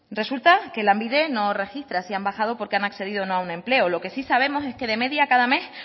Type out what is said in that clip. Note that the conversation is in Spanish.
resulta que lanbide no registra si han bajado porque han accedido o no a un empleo lo que sí sabemos es que de media cada mes